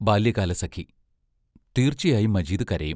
ബാല്യകാലസഖി തീർച്ചയായും മജീദ് കരയും.